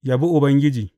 Yabi Ubangiji.